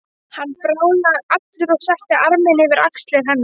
Hann bráðnaði allur og setti arminn yfir axlir henni.